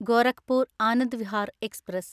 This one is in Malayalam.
ഗോരഖ്പൂർ ആനന്ദ് വിഹാർ എക്സ്പ്രസ്